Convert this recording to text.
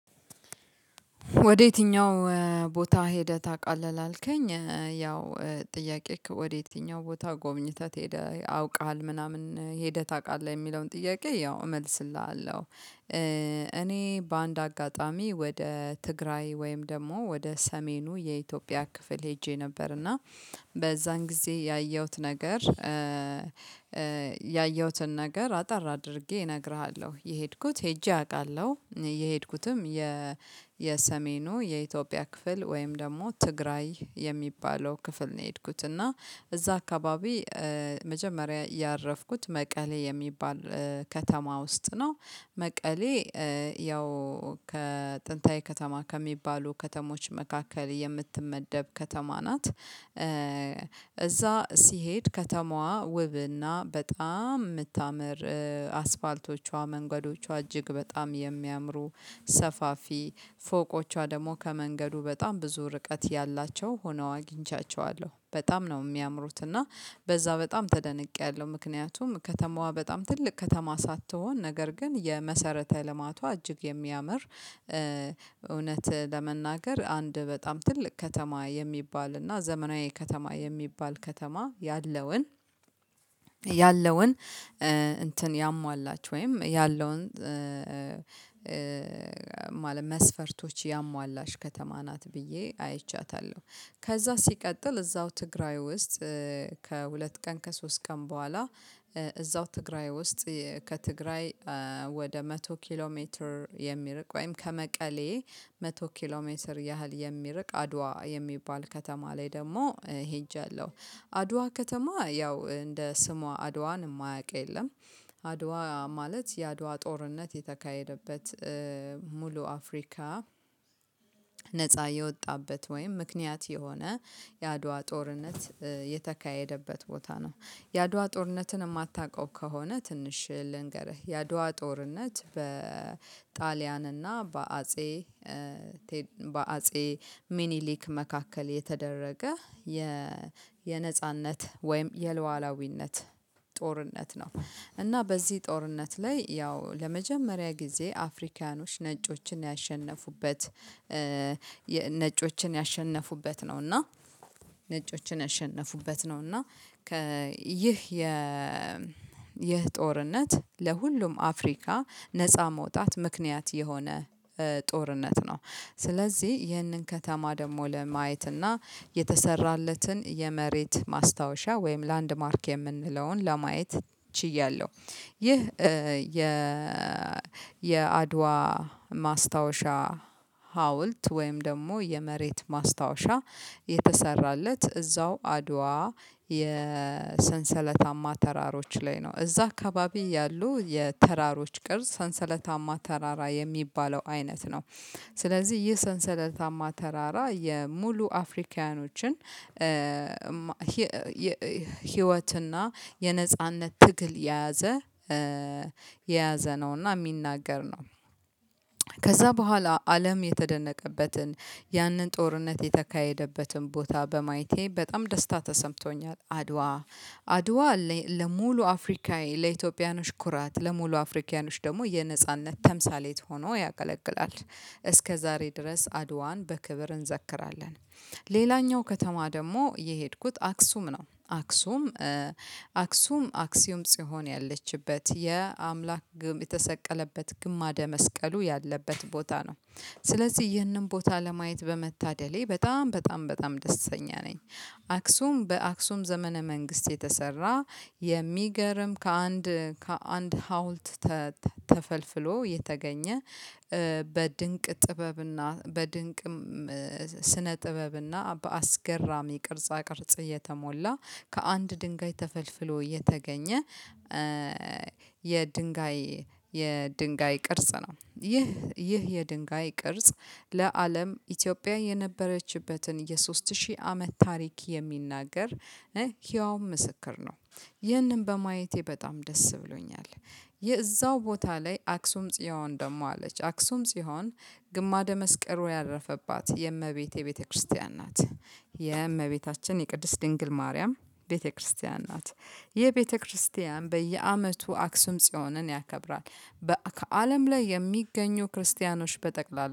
ወድየትኛው? ቦታ ሄደህ ታውቃለህ ላልከኝ ያው ጥያቄክ ወደ የትኛው ቦታ ጎብኝተህ ትሄዳለህ አውቀሃል ምናምን ሄደህ ታውቃለህ የሚለውን ጥያቄ ያው እመልስልሃለሁ። እኔ በአንድ አጋጣሚ ወደ ትግራይ ወይም ደግሞ ወደ ሰሜኑ የኢትዮጵያ ክፍል ሄጄ ነበር። እና በዛን ጊዜ ያየሁት ነገር ያየሁትን ነገር አጠር አድርጌ እነግርሃለሁ። የሄድኩት ሄጄ አውቃለሁ የሄድኩትም የ የኢትዮጵያ ክፍል ወይም ደግሞ ትግራይ የሚባለው ክፍል ነው። የሄድኩት እና እዛ አካባቢ መጀመሪያ ያረፍኩት መቀሌ የሚባል ከተማ ውስጥ ነው። መቀሌ ያው ከጥንታዊ ከተማ ከሚባሉ ከተሞች መካከል የምትመደብ ከተማ ናት። እዛ ሲሄድ ከተማዋ ውብና በጣም የምታምር አስፋልቶቿ መንገዶቿ እጅግ በጣም የሚያምሩ ሰፋፊ ፎቆቿ ደግሞ ከመንገዱ በጣም ብዙ ርቀት ያላቸው ሆነው አግኝቻቸዋለሁ በጣም ነው የሚያምሩት። እና በዛ በጣም ተደንቄያለሁ ምክንያቱም ከተማዋ በጣም ትልቅ ከተማ ሳትሆን ነገር ግን የመሰረተ ልማቷ እጅግ የሚያምር እውነት ለመናገር አንድ በጣም ትልቅ ከተማ የሚባል እና ዘመናዊ ከተማ የሚባል ከተማ ያለውን ያለውን እንትን ያሟላችሁ ወይም ያለውን ማለት መስፈርቶች ያሟላሽ ከተማ ናት ብዬ አይቻታለሁ። ከዛ ሲቀጥል እዛው ትግራይ ውስጥ ከሁለት ቀን ከሶስት ቀን በኋላ እዛው ትግራይ ውስጥ ከትግራይ ወደ መቶ ኪሎ ሜትር የሚርቅ ወይም ከመቀሌ መቶ ኪሎ ሜትር ያህል የሚርቅ አድዋ የሚባል ከተማ ላይ ደግሞ ሄጃለሁ። አድዋ ከተማ ያው እንደ ስሟ አድዋን የማያውቅ የለም። አድዋ ማለት የአድዋ ጦርነት የተካሄደበት ሙሉ አፍሪካ ነፃ የወጣበት ወይም ምክንያት የሆነ የአድዋ ጦርነት የተካሄደበት ቦታ ነው። የአድዋ ጦርነትን የማታውቀው ከሆነ ትንሽ ልንገርህ የአድዋ ጦርነት በጣሊያንና በአጼ ቴድ በአጼ ሚኒሊክ መካከል የተደረገ የ የነጻነት ወይም የሉዓላዊነት ጦርነት ነው። እና በዚህ ጦርነት ላይ ያው ለመጀመሪያ ጊዜ አፍሪካኖች ነጮችን ያሸነፉበት ነጮችን ያሸነፉበት ነው። እና ነጮችን ያሸነፉበት ነው። እና ይህ የ የጦርነት ለሁሉም አፍሪካ ነፃ መውጣት ምክንያት የሆነ ጦርነት ነው። ስለዚህ ይህንን ከተማ ደግሞ ለማየት እና የተሰራለትን የመሬት ማስታወሻ ወይም ላንድማርክ የምንለውን ለማየት ችያለሁ። ይህ የ የአድዋ ማስታወሻ ሀውልት ወይም ደግሞ የመሬት ማስታወሻ የተሰራለት እዛው አድዋ የሰንሰለታማ ተራሮች ላይ ነው እዛ አካባቢ ያሉ የተራሮች ቅርጽ ሰንሰለታማ ተራራ የሚባለው አይነት ነው። ስለዚህ ይህ ሰንሰለታማ ተራራ የሙሉ አፍሪካውያኖችን ህይወትና የነጻነት ትግል የያዘ የያዘ ነውና የሚናገር ነው። ከዛ በኋላ አለም የተደነቀበትን ያንን ጦርነት የተካሄደበትን ቦታ በማየቴ በጣም ደስታ ተሰምቶኛል። አድዋ አድዋ ለሙሉ አፍሪካዊ ለኢትዮጵያኖች ኩራት ለሙሉ አፍሪካዊዖች ደግሞ የነጻነት ተምሳሌት ሆኖ ያገለግላል። እስከዛሬ ድረስ አድዋን በክብር እንዘክራለን። ሌላኛው ከተማ ደግሞ የሄድኩት አክሱም ነው። አክሱም አክሱም አክሲዩም ጽዮን ያለችበት የአምላክ ግም የተሰቀለበት ግማደ መስቀሉ ያለበት ቦታ ነው። ስለዚህ ይህንን ቦታ ለማየት በመታደሌ በጣም በጣም በጣም ደስተኛ ነኝ። አክሱም በአክሱም ዘመነ መንግስት የተሰራ የሚገርም ከአንድ ከአንድ ሀውልት ተፈልፍሎ የተገኘ በድንቅ ጥበብና በድንቅም ስነ ጥበብና በአስገራሚ ቅርጻ ቅርጽ እየተሞላ ከአንድ ድንጋይ ተፈልፍሎ የተገኘ የድንጋይ የድንጋይ ቅርጽ ነው። ይህ ይህ የድንጋይ ቅርጽ ለአለም ኢትዮጵያ የነበረችበትን የሶስት ሺህ አመት ታሪክ የሚናገር ህያው ምስክር ነው። ይህንን በማየቴ በጣም ደስ ብሎኛል። የዛው ቦታ ላይ አክሱም ጽዮን ደግሞ አለች። አክሱም ጺዮን ግማደ መስቀሮ ያረፈባት የእመቤቴ ቤተክርስቲያን ናት። የእመቤታችን የቅድስት ድንግል ማርያም ቤተክርስቲያን ናት። ይህ ቤተክርስቲያን በየአመቱ አክሱም ጽዮንን ያከብራል ከአለም ላይ የሚገኙ ክርስቲያኖች በጠቅላላ